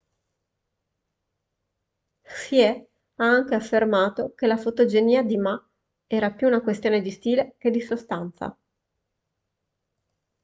hsieh ha anche affermato che la fotogenia di ma era più una questione di stile che di sostanza